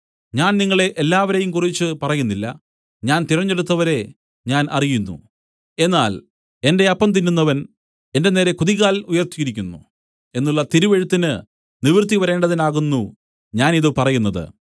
ഞാൻ നിങ്ങളെ എല്ലാവരെയും കുറിച്ച് പറയുന്നില്ല ഞാൻ തിരഞ്ഞെടുത്തവരെ ഞാൻ അറിയുന്നു എന്നാൽ എന്റെ അപ്പം തിന്നുന്നവൻ എന്റെ നേരെ കുതികാൽ ഉയർത്തിയിരിക്കുന്നു എന്നുള്ള തിരുവെഴുത്തിന് നിവൃത്തി വരേണ്ടതിനാകുന്നു ഞാൻ ഇതു പറയുന്നത്